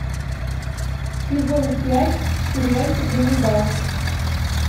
сезон пять сериальчик ганнибал